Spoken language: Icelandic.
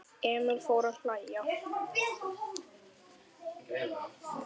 Emil fór að hlæja.